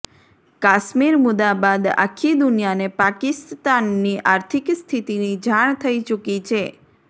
કાશ્મીર મુદ્દા બાદ આખી દુનિયાને પાકિસ્તાનની આર્થિક સ્થિતિની જાણ થઈ ચૂકી છે